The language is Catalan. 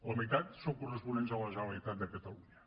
la meitat són corresponents a la generalitat de catalunya